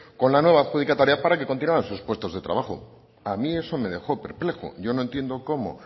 con la nueva adjudicataria para que continuaran en sus puestos de trabajo a mí eso me dejo perplejo yo no entiendo cómo